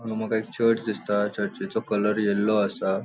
हांगा मका एक चर्च दिसता. चर्चिचो कलर येल्लो असा.